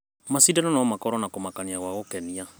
Maicindano no makorwo na kũmakania gwa gũkenia.